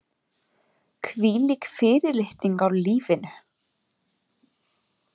Hvílík fyrirlitning á lífinu.